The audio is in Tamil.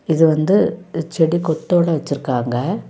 இது வந்து செடி கொத்தோடு வச்சிருக்காங்க.